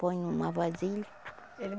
Põe numa vasilha.